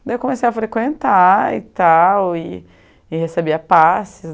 Daí eu comecei a frequentar e tal, e e recebia passes.